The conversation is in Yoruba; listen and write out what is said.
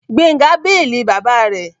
Gbénga béèlì bàbá rẹ̀